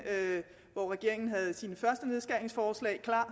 hvor regeringen havde sine første nedskæringsforslag klar